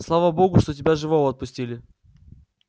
слава богу что тебя живого отпустили